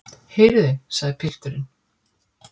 Heyrið þið, sagði pilturinn.